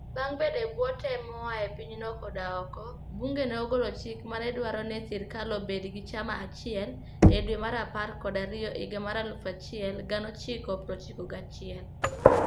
Bang' bedo e bwo tem moa e pinyno koda oko, bunge ne ogolo chik ma ne dwaro ni sirkal obed gi chama achiel e dwe mar apar kod ariyo higa 1991.